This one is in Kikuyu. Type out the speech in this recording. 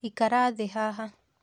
Ikara thĩ haha